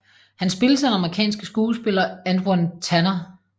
Han spilles af den amerikanske skuespiller Antwon Tanner